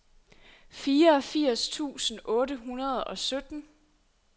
fireogfirs tusind otte hundrede og sytten